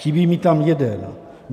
Chybí mi tam jeden.